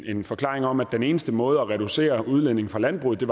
en forklaring om at den eneste måde at reducere udledningen fra landbruget